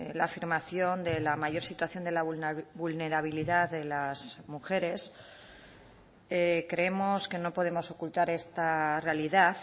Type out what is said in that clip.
la afirmación de la mayor situación de vulnerabilidad de las mujeres creemos que no podemos ocultar esta realidad